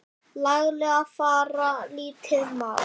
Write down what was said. laglega fara lítið má.